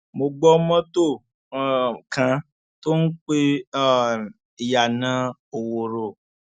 mo gbọ mọtò um kan tó ń pe um ìyànà òwòrò